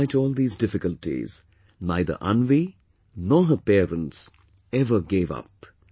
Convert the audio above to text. Despite all these difficulties, neither Anvi, nor her parents ever gave up